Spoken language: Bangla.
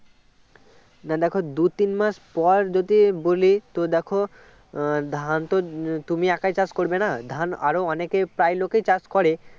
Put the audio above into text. না দেখো দুই তিন মাস পর যদি বলি তো দেখো ধান তো তুমি একাই চাষ করবে না ধান আরও অনেকে প্রায় লোকেই চাষ করে